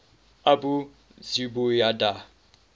abu zubaydah